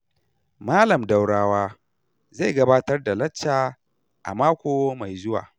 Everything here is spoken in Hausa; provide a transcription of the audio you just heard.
Malam Daurawa zai gabatar da lacca a mako mai zuwa.